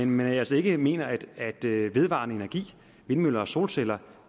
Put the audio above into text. man altså ikke mener at vedvarende energi vindmøller og solceller